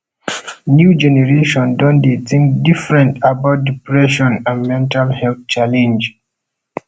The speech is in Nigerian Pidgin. new generation don dey think different about depression and mental health challenge